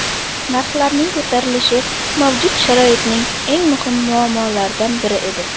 Narxlarning ko‘tarilishi mavjud sharoitning eng muhim muammolaridan biri edi.